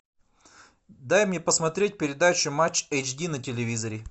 дай мне посмотреть передачу матч эйч ди на телевизоре